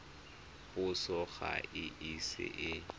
puso ga e ise e